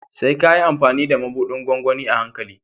Sai ka yi amfani da mabuɗin gwangwani a hankali.